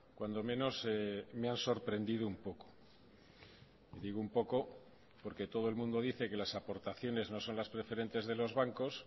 cuando menos me han sorprendido un poco digo un poco porque todo el mundo dice que las aportaciones no son las preferentes de los bancos